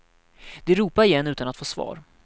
De ropade igen utan att få svar.